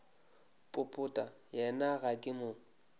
popota yena ga ke mo